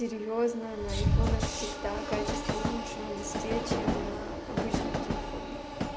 серьёзно на айфонах всегда качество лучше в инсте чем на обычных телефонах